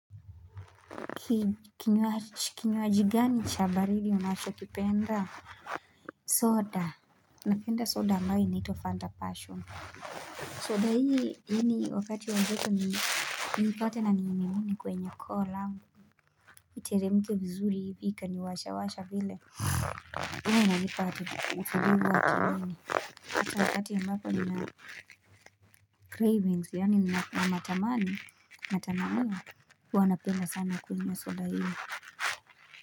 Kinywaji gani cha baridi unachokipenda soda Napenda soda ambayo inaitwa Fanta Passion soda hii yaani wakati wa joto niipata na niimimine kwenye koolangu Iteremke vizuri ikaniwasha washa vile hiyo inanipa ufidivu watu hini Kasa wakati ya mbapo ni na cravings yaani na matamani matamayo huwana penda sana kwenye soda hii.